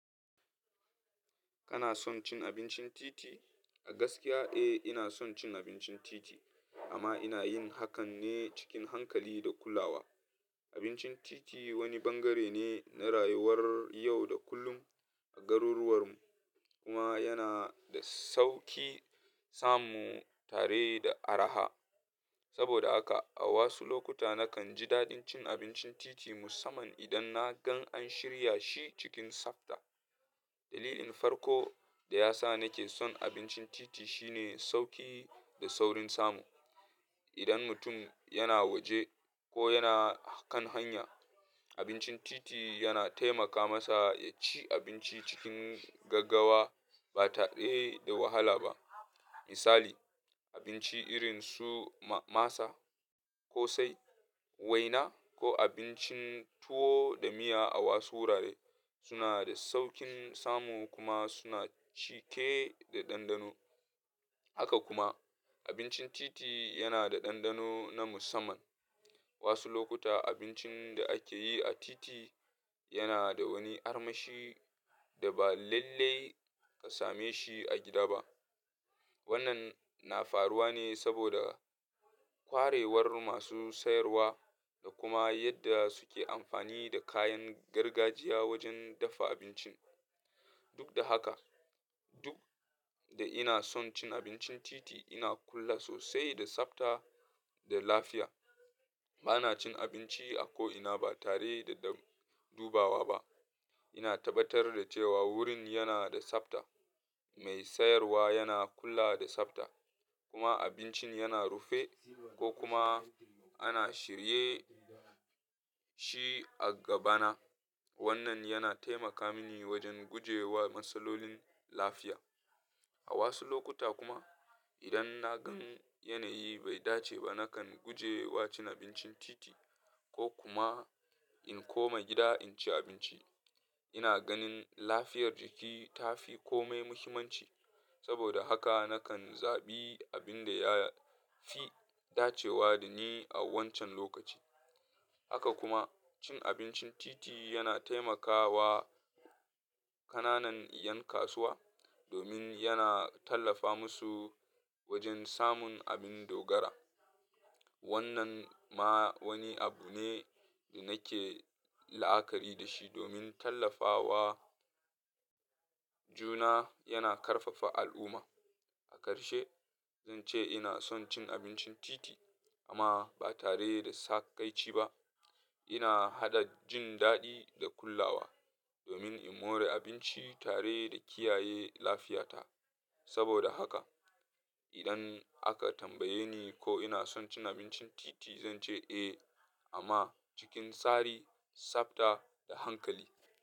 Kana son cin abincin titi? A gaskiya, eh, ina son cin abincin titi amma ina yin hakan ne cikin hankali da kulawa. Abincin titi wani bangare ne na rayuwar yau da kullum a garuruwar mu kuma yana da sauki samu tare da araha. Saboda haka a wasu lokuta nakan ji daɗin cin abincin titi musamman idan na gan an shirya shi cikin tsafta. Dalilin farko da yasa nake son abincin titi shine sauki da saurin samu. Idan mutum yana waje ko yana kan hanya, abincin titi yana taimaka masa ya ci abinci cikin gaggawa ba tare da wahala ba. Misali, abinci irin su masa ko sai waina ko abincin tuwo da miya a wasu wurare suna da saukin samu kuma suna cike da ɗanɗano. Haka kuma abincin titi yana da ɗanɗano na musamman. Wasu lokuta abincin da ake yi a titi yana da wani armashi da ba lallai ka same shi a gida ba. Wannan na faruwa ne saboda kwarewar masu sayarwa da kuma yadda suke amfani da kayan gargajiya wajen dafa abincin. Duk da haka, duk da ina son cin abincin titi, ina kula sosai da tsafta da lafiya. Ba na cin abinci a ko ina ba tare da dubawa ba. Ina tabbatar da cewa wurin yana da tsafta, mai sayarwa yana kula da tsafta kuma abincin yana rufe ko kuma ana shirye shi a gabana. Wannan yana taimaka mini wajen guje wa matsalolin lafiya. A wasu lokuta kuma idan na gan yanayi bai dace ba, nakan guje wa cin abincin titi ko kuma in koma gida in ci abinci. Ina ganin lafiyar jiki ta fi kome muhimmanci saboda haka nakan zaɓi abin da ya fi dacewa da ni a wancan lokaci. Haka kuma cin abincin titi yana taimakawa ƙananan ƴan kasuwa domin yana tallafa musu wajen samun abin dogara. Wannan ma wani abu ne da nake la'akari da shi domin tallafawa juna yana ƙarfafa al'umma. A karshe, zan ce ina son cin abincin titi amma ba tare da saƙaici ba. Ina haɗa jin daɗi da kulawa domin in more abinci tare da kiyaye lafiyata. Saboda haka idan aka tambaye ni ko ina son cin abincin titi, zan ce eh amma cikin tsari, tsafta da hankali.